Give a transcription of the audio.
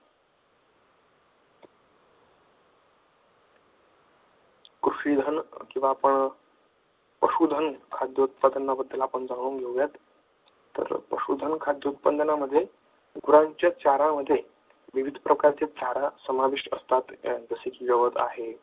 कृषिधन किंवा पशुधन खाद्य उत्पादनाबद्दल आपण जाणून घेऊयात, तर पशुधन खाद्य उत्पादनामध्ये गुरांच्या चारा मध्ये विविध प्रकारचे चारा समाविष्ट असतात